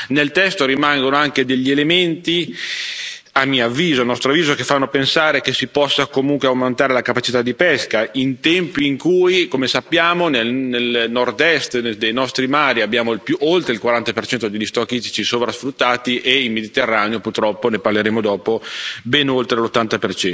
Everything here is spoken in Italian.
Nel testo rimangono anche degli elementi, a mio avviso, a nostro avviso, che fanno pensare che si possa comunque aumentare la capacità di pesca in tempi in cui, come sappiamo, nel nordest dei nostri mari abbiamo oltre il 40 degli stock ittici sovrasfruttati e nel Mediterraneo, purtroppo ne parleremo dopo ben oltre l'80